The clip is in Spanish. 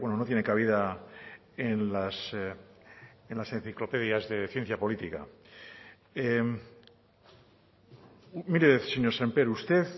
no tiene cabida en las enciclopedias de ciencia política mire señor sémper usted